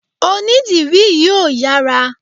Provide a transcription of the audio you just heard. Onídìrí yìí ò yára.